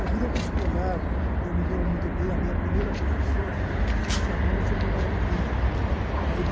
O grupo escolar, que eu me lembro muito bem, a minha primeira professora chamava-se Dona Ritinha. Ai